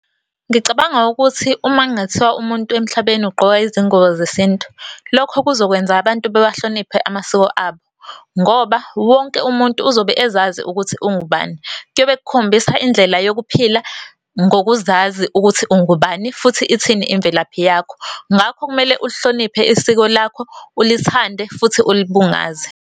Ngicabanga ukuthi uma kungathiwa umuntu emhlabeni ugqoka izingubo zesintu, lokho kuzokwenza abantu bewabahloniphe amasiko abo ngoba wonke umuntu uzobe ezazi ukuthi ungubani. Kuyobe kukhombisa indlela yokuphila ngokuzazi ukuthi ungubani, futhi ithini imvelaphi yakho. Ngakho kumele ulihloniphe isiko lakho, ulithande futhi ulibungaze.